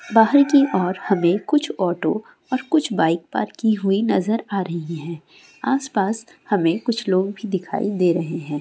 बाहर की और हमे कुछ ऑटो और कुछ बाइक पार्क की हुई नजर आ रही है। आसपास हमे कुछ लोग भी दिखाई दे रहे है।